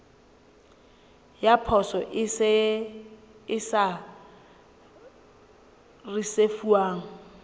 ya poso e sa risefuwang